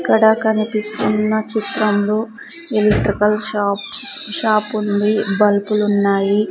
ఇక్కడ కనిపిస్తున్న చిత్రంలో ఎలక్ట్రికల్ షాప్స్ షాపుంది బుల్పులున్నాయి .